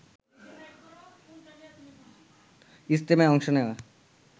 ইজতেমায় অংশ নেয়া